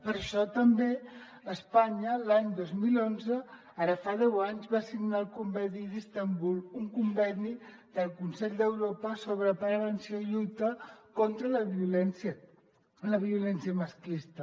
per això també espanya l’any dos mil onze ara fa deu anys va signar el conveni d’istanbul un conveni del consell d’europa sobre prevenció i lluita contra la violència masclista